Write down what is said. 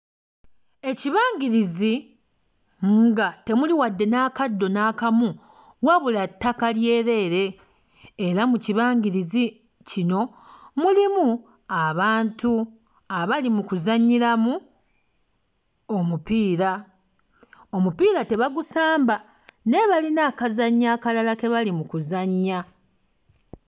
Ekibangirizi nga temuli wadde n'akaddo n'akamu wabula ttaka lyereere era mu kibangirizi kino mulimu abantu abali mu kuzannyiramu omupiira. Omupiira tebagusamba naye balina akazannyo akalala ke bali mu kuzannya.